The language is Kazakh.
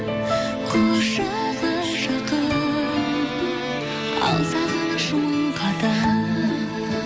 құшағы жақын ал сағыныш мың қадам